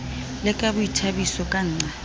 le ka boithabiso ka nqa